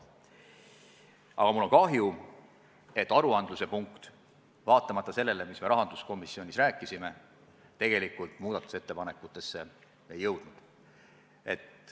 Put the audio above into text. Aga mul on kahju, et aruandluse punkt vaatamata sellele, mida me rahanduskomisjonis rääkisime, tegelikult muudatusettepanekutesse ei jõudnud.